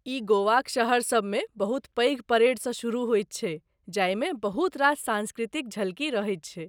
ई गोवाक शहरसभ मे बहुत पैघ परेडसँ शुरू होयत छै जाहिमे बहुत रास सांस्कृतिक झलकी रहैत छै।